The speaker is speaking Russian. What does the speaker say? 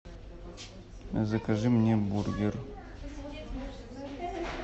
закажи мне бургер